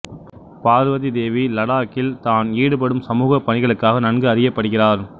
பார்வதி தேவி லடாக்கில் தான் ஈடுபடும் சமூகப் பணிகளுக்காக நன்கு அறியப்படுகிறார்